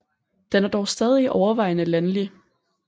Den er dog stadig overvejende landlig